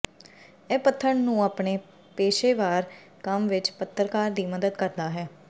ਇਹ ਪੱਥਰ ਨੂੰ ਆਪਣੇ ਪੇਸ਼ੇਵਰ ਕੰਮ ਵਿਚ ਪੱਤਰਕਾਰ ਦੀ ਮਦਦ ਕਰਦਾ ਹੈ